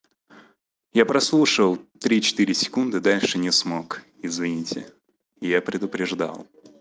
я прослушал три четыре секунды дальше не смог извините я предупреждал